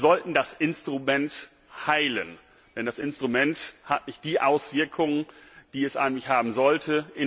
Wir sollten das Instrument heilen, denn das Instrument hat nicht die Auswirkungen, die es eigentlich haben sollte.